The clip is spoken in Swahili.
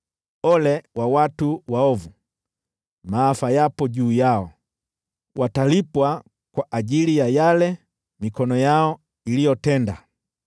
Ole kwa watu waovu! Maafa yapo juu yao! Watalipwa kwa ajili ya yale mikono yao iliyotenda.